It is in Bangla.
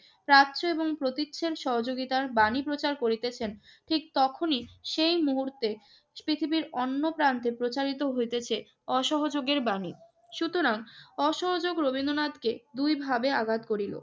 প্রাচ্য এবং প্রতীচ্যের সহযোগিতার বাণী প্রচার করিতেছেন, ঠিক তখনই সেই মুহূর্তে পৃথিবীর অন্য প্রান্তে প্রচারিত হইতেছে অসহযোগের বাণী। সুতরাং অসহযোগ রবীন্দ্রনাথকে দুইভাবে আঘাত করিল।